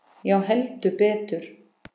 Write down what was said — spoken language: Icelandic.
Já, heldur betur.